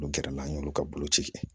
N'o kɛra n'a y'olu ka boloci kɛ